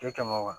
E kɛmɛ wa